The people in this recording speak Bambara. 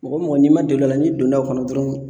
Mɔgɔ mɔgɔ n'i ma deli a la n'i donna o kɔnɔ dɔrɔnw